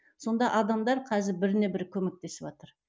сонда адамдар қазір біріне бірі көмектесіватыр